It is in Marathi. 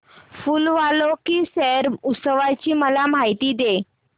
फूल वालों की सैर उत्सवाची मला माहिती दे